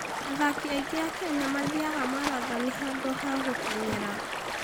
Athaki aingĩ a Kenya mathiaga marathoni handũ ha gũteng'era.